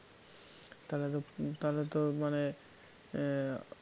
তাহলে তো তাহলে তো মানে এ~